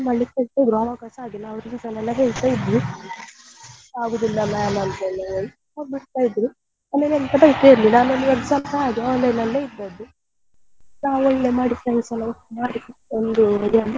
ಹೇಳ್ತಿದ್ರು ಆವಾಗ ಸ ಹಾಗೆ ನಾವು reason ಎಲ್ಲ ಹೇಳ್ತಾ ಇದ್ವಿ ಆಗುದಿಲ್ಲ ma'am ಅಂತ ಎಲ್ಲ ಆಮೇಲೆ exam ಹಾಗೆ online ಅಲ್ಲಿ ಇದ್ದದ್ದು ನಾವು ಒಳ್ಳೆ ಮಾಡಿ friends ಎಲ್ಲ ಒಟ್ಟು ಮಾಡಿ ಒಂದು ಇದ್ರಲ್ಲಿ,